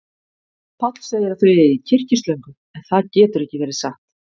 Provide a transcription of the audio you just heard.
Páll segir að þau eigi kyrkislöngu, en það getur ekki verið satt.